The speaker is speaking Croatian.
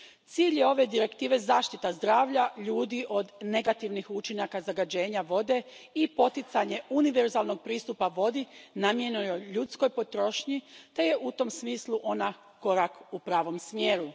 Cilj je ove Direktive zaštita zdravlja ljudi od negativnih učinaka zagađenja vode i poticanje univerzalnog pristupa vodi namijenjenoj ljudskoj potrošnji te je, u tom smislu, ona korak u pravom smjeru.